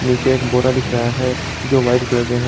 नीचे एक बोरा दिख रहा है जो वाइट कलर का है।